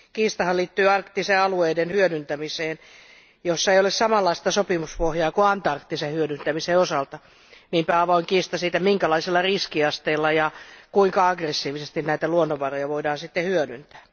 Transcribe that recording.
Kiistahan liittyy arktisten alueiden hyödyntämiseen, jossa ei ole samanlaista sopimuspohjaa kuin antarktisen hyödyntämisen osalta, niinpä tämä avoin kiista siitä, minkälaisella riskiasteella ja kuinka aggressiivisesti näitä luonnonvaroja voidaan sitten hyödyntää.